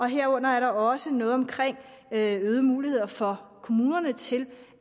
herunder er der også noget om øgede muligheder for kommunerne til